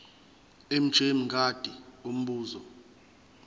mj mngadi umbuzo